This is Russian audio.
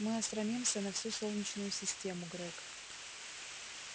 мы осрамимся на всю солнечную систему грег